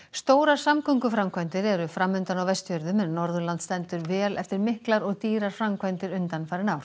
stórar samgönguframkvæmdir eru fram undan á Vestfjörðum en Norðurland stendur vel eftir miklar og dýrar framkvæmdir undanfarin ár